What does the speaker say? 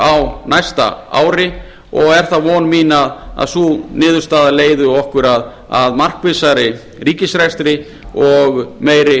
á næsta ári og er von mín að sú niðurstaða leiði okkur að markvissari ríkisrekstri og meiri